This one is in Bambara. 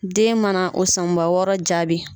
Den mana o sanba wɔɔrɔ jaabi.